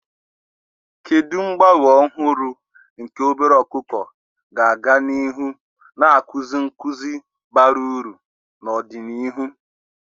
Kedu mgbanwe ọhụrụ nke obere ọkụkọ ga-aga n'ihu na-akụzi nkuzi bara uru n'ọdịnihu?